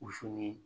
ni